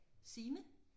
Signe